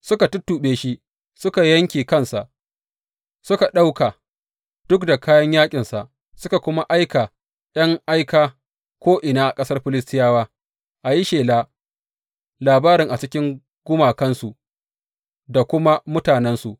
Suka tuttuɓe shi suka yanke kansa suka ɗauka duk da kayan yaƙinsa, suka kuma aika ’yan aika ko’ina a ƙasar Filistiyawa, a yi shela labarin a cikin gumakansu da kuma mutanensu.